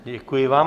Děkuji vám.